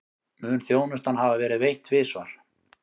Mun þjónustan hafa verið veitt tvisvar